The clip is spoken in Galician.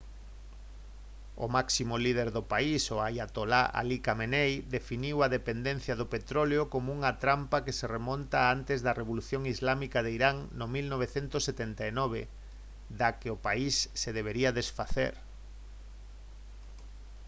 o máximo líder do país o aiatolá ali khamenei definiu a dependencia do petróleo como unha trampa que se remonta a antes da revolución islámica de irán no 1979 da que o país se debería desfacer